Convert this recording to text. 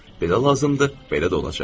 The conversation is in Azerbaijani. Belə lazımdır, belə də olacaq.